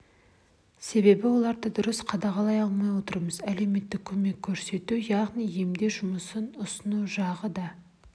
себебі оларды дұрыс қадағалай алмай отырмыз әлеуметтік көмек көрсету яғни емдеу жұмыс ұсыну жағы да